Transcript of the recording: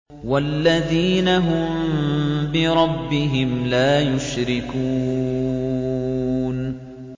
وَالَّذِينَ هُم بِرَبِّهِمْ لَا يُشْرِكُونَ